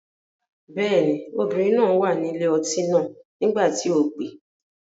Bẹ́ẹ̀ ni, obìnrin náà wà ní ilé ọtí náà nígbà tí o pè.